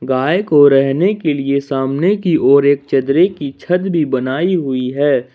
गाय को रहने के लिए सामने की ओर एक चदरें की छत भी बनाई हुई है।